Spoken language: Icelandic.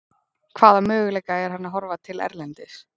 Hvaða möguleika er hann að horfa til erlendis?